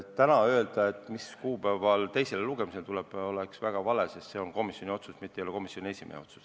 Täna öelda, mis kuupäeval see teisele lugemisele tuleb, oleks väga vale, sest see on komisjoni otsus, mitte komisjoni esimehe otsus.